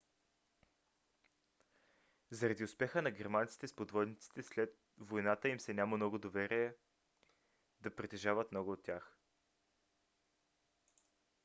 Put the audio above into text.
заради успеха на германците с подводниците след войната им се няма доверие да притежават много от тях